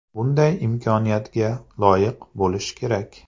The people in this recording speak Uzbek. Bunday imkoniyatga loyiq bo‘lish kerak.